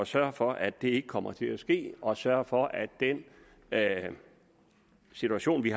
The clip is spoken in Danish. sørge for at det ikke kommer til at ske og sørge for at den situation vi